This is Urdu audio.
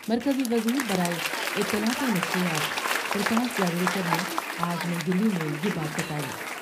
مرکزی وزیر برائے اطلاعات ونشریات پر کاش جواڈیکر نے آج نئی دہلی میں یہ بات بتائی ۔